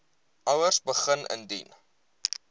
ouers begin indien